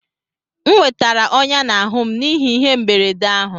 M nwetara ọnyá n'ahụ m n'ihi ihe mberede ahụ